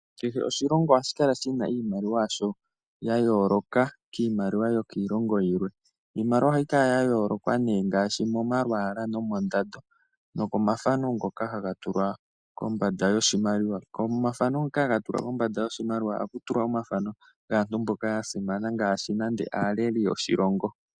Kehe oshilongo ohashi kala shina oshimaliwa shasho sha yooloka kiimaliwa yiilongo yilwe. Iimaliwa ohayi kala ya yooloka ngaashi momalwaala nomoondando nokomafano ngoka haga tulwa kombanda yoshimaliwa. Komafano ngoka haga tulwa kombanda yoshimaliwa ohaku tulwa omafano nande ogaaleli yoshilongo.